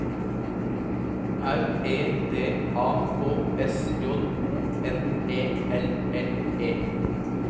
R E D A K S J O N E L L E